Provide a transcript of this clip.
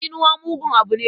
Tsinuwa mugun abu ne.